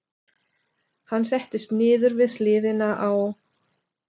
Hann settist niður við hliðina á